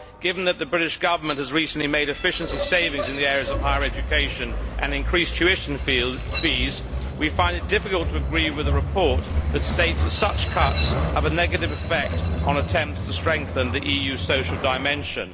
Given that the British Government has recently made efficiency savings in the areas of higher education and increased tuition fees, we find it difficult to agree with a report that states that such cuts have a negative effect on attempts to strengthen the EU's social dimension.